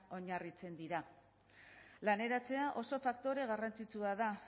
oinarritzen dira laneratzea oso faktore garrantzitsua da